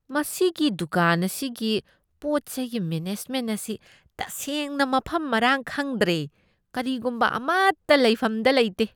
ꯃꯁꯤꯒꯤ ꯗꯨꯀꯥꯟ ꯑꯁꯤꯒꯤ ꯄꯣꯠ ꯆꯩꯒꯤ ꯃꯦꯅꯦꯖꯃꯦꯟꯠ ꯑꯁꯤ ꯇꯁꯦꯡꯅ ꯃꯐꯝ ꯃꯔꯥꯡ ꯈꯪꯗ꯭ꯔꯦ꯫ ꯀꯔꯤꯒꯨꯝꯕ ꯑꯃꯇ ꯂꯩꯐꯝꯗ ꯂꯩꯇꯦ꯫